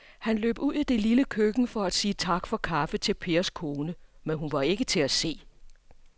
Han løb ud i det lille køkken for at sige tak for kaffe til Pers kone, men hun var ikke til at se.